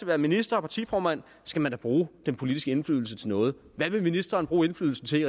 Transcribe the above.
være minister og partiformand skal man da bruge den politiske indflydelse til noget hvad vil ministeren bruge indflydelsen til